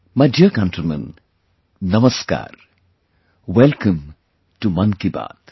My dear countrymen, Namaskar, Welcome to Mann Ki Baat